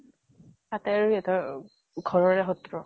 তাতে আৰু ঘৰৰে শত্ৰু।